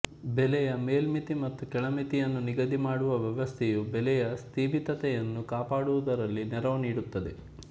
ಬೆಲೆಯ ಮೇಲ್ಮಿತಿ ಮತ್ತು ಕೆಳಮಿತಿಯನ್ನು ನಿಗದಿ ಮಾಡುವ ವ್ಯವಸ್ಥೆಯೂ ಬೆಲೆಯ ಸ್ತಿಮಿತತೆಯನ್ನು ಕಾಪಾಡುವುದರಲ್ಲಿ ನೆರವು ನೀಡುತ್ತದೆ